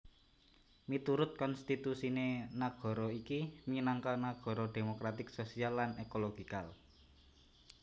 Miturut konstitusiné nagara iki minangka nagara demokratik sosial lan ekologikal